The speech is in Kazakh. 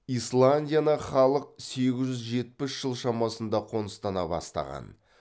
исландияны халық сегіз жүз жетпіс жыл шамасында қоныстана бастаған